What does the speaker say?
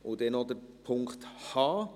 Dann noch Punkt h: